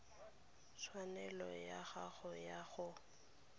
tshwanelo ya gago ya go